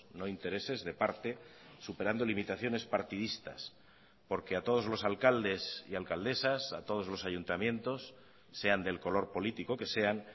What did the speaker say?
no intereses de parte superando limitaciones partidistas porque a todos los alcaldes y alcaldesas a todos los ayuntamientos sean del color político que sean